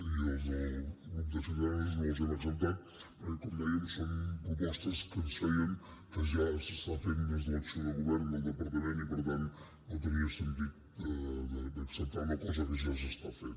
i les del grup de ciudadanos no les hem acceptat perquè com dèiem són propostes que ens feien que ja s’estan fent des de l’acció de govern del departament i per tant no tenia sentit d’acceptar una cosa que ja s’està fent